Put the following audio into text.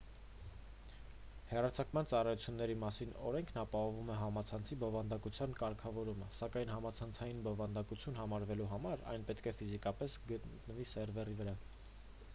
հեռարձակման ծառայությունների մասին օրենքն ապահովում է համացանցի բովանդակության կարգավորումը սակայն համացանցային բովանդակություն համարվելու համար այն պետք է ֆիզիկապես գտնվի սերվերի վրա